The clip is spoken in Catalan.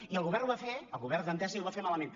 i el govern ho va fer el govern d’entesa i ho va fer malament